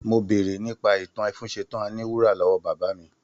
Mo béèrè nípa ìtàn ẹfúnṣtan àní wúrà lọ́wọ́ bàbá mi